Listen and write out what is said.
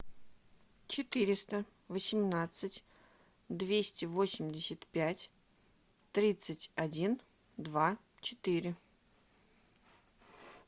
четыреста восемнадцать двести восемьдесят пять тридцать один два четыре